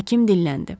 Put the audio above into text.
Həkim dilləndi.